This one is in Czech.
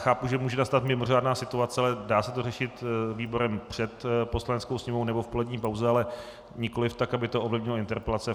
Chápu, že může nastat mimořádná situace, ale dá se to řešit výborem před Poslaneckou sněmovnou nebo v polední pauze, ale nikoliv tak, aby to ovlivnilo interpelace.